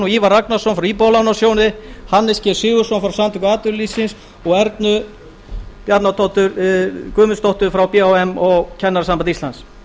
ívar ragnarsson frá íbúðalánasjóði hannes g sigurðsson frá samtökum atvinnulífsins og ernu guðmundsdóttur frá b h m og kennarasambandi íslands